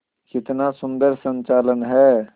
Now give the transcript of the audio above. कितना सुंदर संचालन है